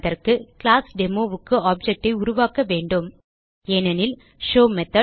அதற்கு கிளாஸ் Demoக்கு ஆப்ஜெக்ட் ஐ உருவாக்க வேண்டும் ஏனெனில் ஷோவ் மெத்தோட்